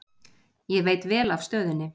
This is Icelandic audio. Ég veit vel af stöðunni.